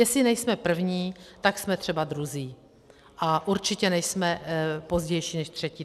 Jestli nejsme první, tak jsme třeba druzí, ale určitě nejsme pozdější než třetí.